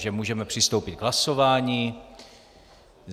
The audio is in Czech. Takže můžeme přistoupit k hlasování.